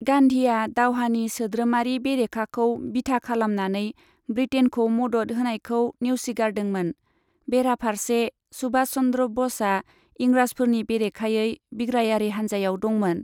गान्धीआ दावहानि सोद्रोमारि बेरेखाखौ बिथा खालामनानै बृटेइनखौ मदद होनायखौ नेवसिगारदोंमोन, बेराफारसे सुभाष चन्द्र ब'सआ इंराजफोरनि बेरेखायै बिग्रायारि हानजायाव दंमोन।